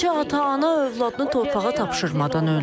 Neçə ata-ana övladını torpağa tapşırmadan öldü.